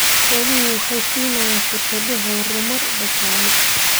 Xooluhu waxay siinayaan fursado horumar dhaqaale.